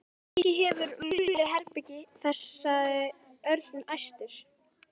Kannski hefur Lúlli herbergi þar sagði Örn æstur.